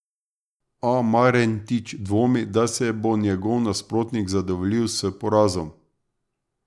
A Marentič dvomi, da se bo njegov nasprotnik zadovoljil s porazom.